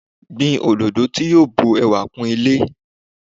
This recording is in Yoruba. Gbin òdòdó tí yo bun ẹwà kún ilé